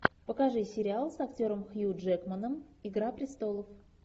покажи сериал с актером хью джекманом игра престолов